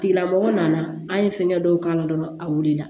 Tigilamɔgɔ nana an ye fɛnkɛ dɔw k'a la dɔrɔn a wulila